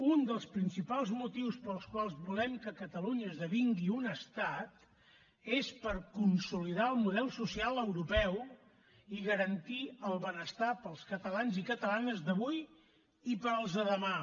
un dels principals motius pels quals volem que catalunya esdevingui un estat és per consolidar el model social europeu i garantir el benestar per als catalans i catalanes d’avui i per als de demà